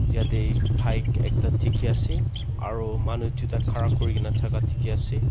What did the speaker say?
yatey bike ekta dikhi ase aro manu duita khara kurigena thaka dikhi ase.